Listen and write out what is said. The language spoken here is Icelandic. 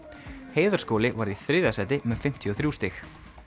Heiðarskóli varð í þriðja sæti með fimmtíu og þrjú stig